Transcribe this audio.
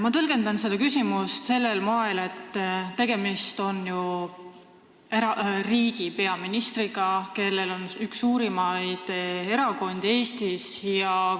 Mina tõlgendan seda küsimust sellel moel, et tegemist on ju riigi peaministriga, kes juhib ühte suurimat erakonda Eestis.